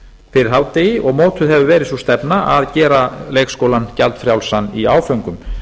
fyrir hádegi og mótuð hefur verið sú stefna að gera leikskólann gjaldfrjálsan í áföngum